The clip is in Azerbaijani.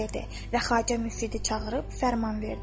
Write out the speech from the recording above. Və Xacə Müfridə çağırıb fərman verdi.